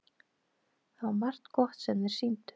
Það var margt gott sem þeir sýndu.